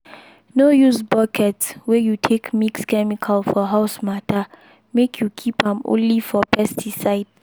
no use bucket wey you take mix chemical for house matter make you keep am only for pesticide.